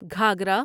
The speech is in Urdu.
گھاگھرا